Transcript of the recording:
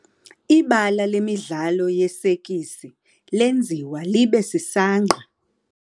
Ibala lemidlalo yesekisi lenziwa libe sisangqa.